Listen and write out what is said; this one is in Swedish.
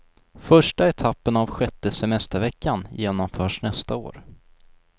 Första etappen av sjätte semesterveckan genomförs nästa år.